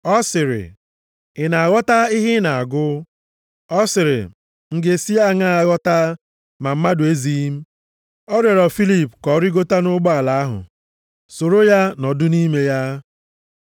Ọ sịrị, “M ga-esi aṅaa ghọta, ma mmadụ ezighị m?” Ọ rịọrọ Filip ka ọ rigota nʼụgbọala ahụ, soro ya nọdụ nʼime ya.